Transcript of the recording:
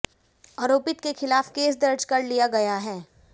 आरोपित के खिलाफ केस दर्ज कर लिया गया है